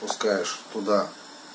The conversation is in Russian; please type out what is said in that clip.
пускаешь туда